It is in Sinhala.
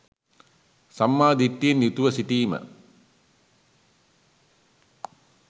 සම්මා දිට්ඨියෙන් යුතුව සිටීම